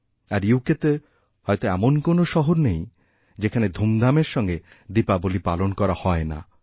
আরইউকেতে হয়ত এমন কোন শহর নেই যেখানে ধুমধামের সঙ্গে দীপাবলী পালন করা হয় না